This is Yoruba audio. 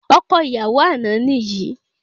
Ọkọ ìyàwó àná ni yìí